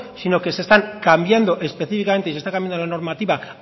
sino que se están cambiando específicamente y se están cambiando la normativa